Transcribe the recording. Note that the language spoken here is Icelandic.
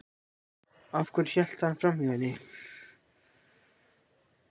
Af hverju hélt hann framhjá henni?